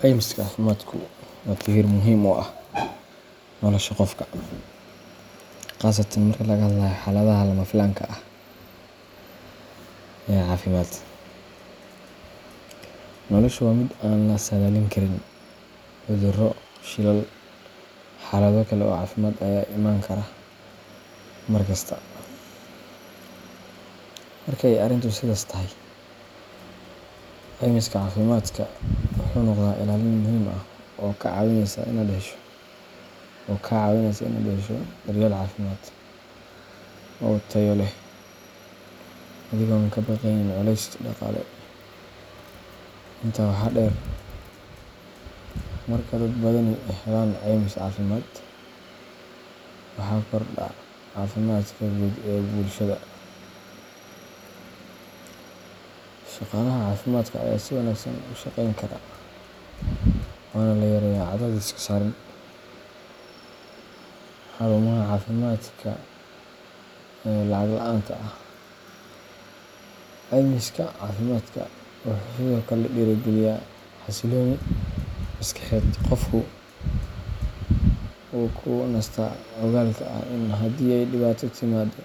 Caymiska cafimaadku waa tiir muhiim u ah nolosha qofka, khaasatan marka laga hadlayo xaaladaha lama filaanka ah ee caafimaad. Nolosha waa mid aan la saadaalin karin cudurro, shilal, iyo xaalado kale oo caafimaad ayaa iman kara mar kasta. Marka ay arrintu sidaas tahay, caymiska cafimaadka wuxuu noqdaa ilaalin muhiim ah oo kaa caawinaysa inaad hesho daryeel caafimaad oo tayo leh adigoon ka baqaynin culays dhaqaale. Intaa waxaa dheer, marka dad badani helaan caymis cafimaad, waxa kordha caafimaadka guud ee bulshada. Shaqaalaha caafimaadka ayaa si wanaagsan u shaqayn kara, waana la yareeyaa cadaadiska saaran xarumaha caafimaadka ee lacag la’aanta ah. Caymiska cafimaadka wuxuu sidoo kale dhiirrigeliyaa xasillooni maskaxeed qofku wuu ku nastaa ogaalka ah in haddii ay dhibaato timaado,